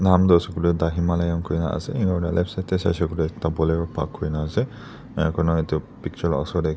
nam du asey kuileh the himalayan kuina asey enia kurna left side deh saishey kuileh ekta bolero park kurina asey enia kurna etu picture la osor deh--